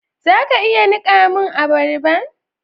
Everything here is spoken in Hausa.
Za ka iya nika mun abarban?